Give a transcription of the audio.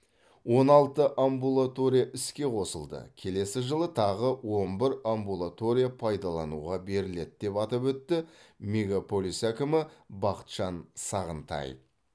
он алты амбулатория іске қосылды келесі жылы тағы он бір амбулатория пайдалануға беріледі деп атап өтті мегаполис әкімі бақытжан сағынтаев